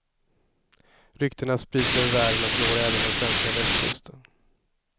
Ryktena sprids över världen och når även den svenska västkusten.